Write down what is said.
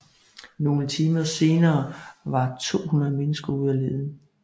Nogle timer senere var 200 mennesker ude at lede